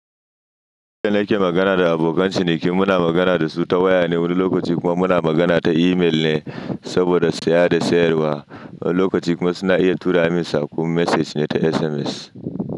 Lokacin da nake magana da abokan ciniki, muna magana da su ta waya ne, wani lokaci kuma muna magana ta email ne saboda saya da sayarwa. Wani lokaci kuma suna iya tura min saƙon message ne ta SMS.